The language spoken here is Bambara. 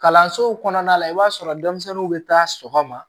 Kalansow kɔnɔna la i b'a sɔrɔ denmisɛnninw bɛ taa sɔgɔma